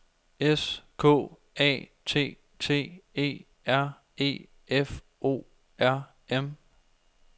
S K A T T E R E F O R M